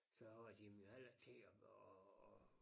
Så har de dem jo heller ikke til at at